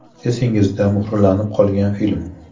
Esingizda muhrlanib qolgan film?